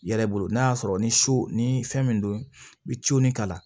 I yɛrɛ bolo n'a y'a sɔrɔ ni su ni fɛn min don i bɛ cin kalan